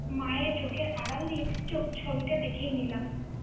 মায়ের চোখের আড়াল দিয়ে ছ~ ছবিটা দেখেই নিলাম।